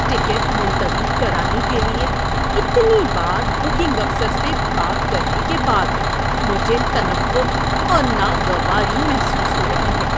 Ticket ملتوی کرانے کے لیے اتنی بار بکنگ افسر سے بات کرنے کے بعد مجھے تنفر اور ناگواری محسوس ہو رہی ہے۔